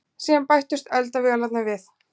Síðan bættust eldavélarnar við.